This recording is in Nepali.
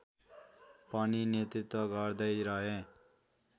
पनि नेतृत्व गर्दैरहे